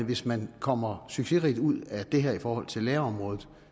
hvis man kommer succesrigt ud af det her i forhold til lærerområdet